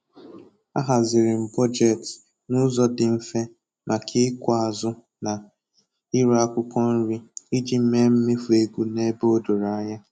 Ahaziri m bọjetị n'ụzọ dị mfe maka ịkụ azụ na ire akwụkwọ nri iji mee mmefu ego n'ebe o doro anya